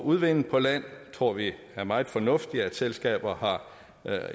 udvinde på land det tror vi er meget fornuftigt at selskaber har